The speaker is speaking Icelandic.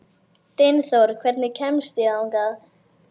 Dynþór, hvernig kemst ég þangað?